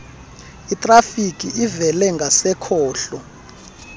itrafiki evele ngasekhohlo